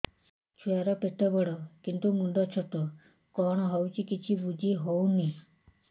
ଛୁଆର ପେଟବଡ଼ କିନ୍ତୁ ମୁଣ୍ଡ ଛୋଟ କଣ ହଉଚି କିଛି ଵୁଝିହୋଉନି